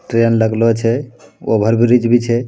ट्रैन लगालो छै ओवरब्रिज भी छै |